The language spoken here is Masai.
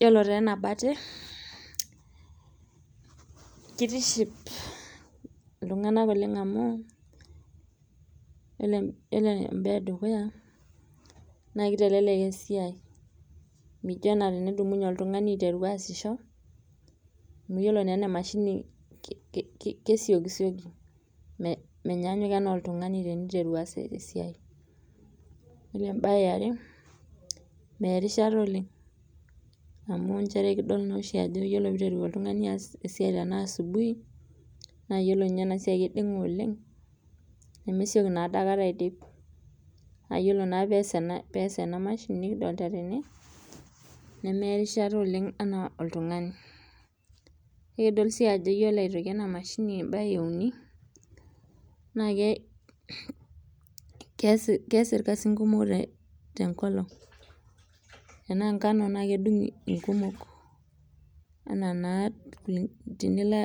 Yiolo taa ena mbate kitiship iltunganak oleng amu yiolo embae edukuya naa kitelelek esiai mijo ana tenidumunye oltungani aiteru aasisho amu yiolo naa ena mashini kesiokisioki menyaanyuk oltungani teniteru aas esiai ,yiolo embae eare meya erishata oleng amu kiyiolo naa ajo nchere yiolo pee eiteru oltungani aas asidai asubuhi naa yiolo ninye ena siai keidinga oleng nemesioki naa adaikata aidip naa yiolo naa tenes tena mashini nikidolita tena nemeeta erishata oleng enaa oltungani nikidol sii ajo yiolo ena mashini embae euni naa kees irkasin kumok tenkolong tenaa enkano naa kedungo inkumok ,ana naa tenilo